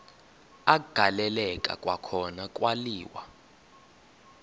agaleleka kwakhona kwaliwa